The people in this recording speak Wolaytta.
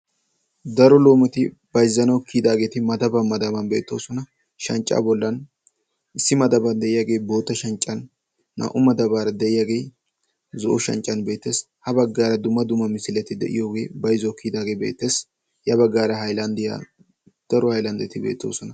Daro loometi bayzettaanwu kiyidaageti madaban madaban beettoosona. shanccaa bollan issi madaban de'iyaagee bootta shanccan, naa"u madaara de'iyaagee zo'o shanccan beettees. ha baggaara dumma dumm amisileti de'iyoogee bayzzuwawu kiyidaagee beettes. ya baggaara haylandiyaa daro haylandeti beettoosona.